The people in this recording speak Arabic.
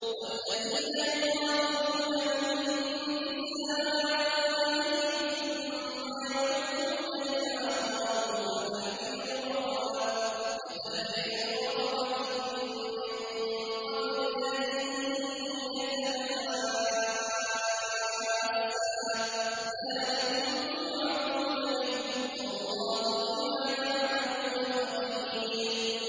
وَالَّذِينَ يُظَاهِرُونَ مِن نِّسَائِهِمْ ثُمَّ يَعُودُونَ لِمَا قَالُوا فَتَحْرِيرُ رَقَبَةٍ مِّن قَبْلِ أَن يَتَمَاسَّا ۚ ذَٰلِكُمْ تُوعَظُونَ بِهِ ۚ وَاللَّهُ بِمَا تَعْمَلُونَ خَبِيرٌ